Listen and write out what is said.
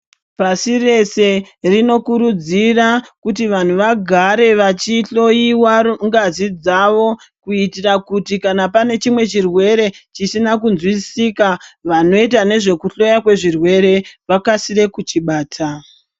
Pashi rese rinokurudzira kuti vantu vagare vachihloyiwa ngazi dzavo, kuitira kuti kana pane chimwe chirwere chisina kunzwisisika, vanoita nezvekuhloyiwa kwezvirwere vakasire kuchibata.